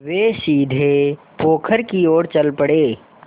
वे सीधे पोखर की ओर चल पड़े